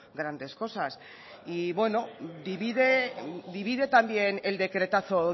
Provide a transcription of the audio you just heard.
grandes cosas y bueno divide también el decretazo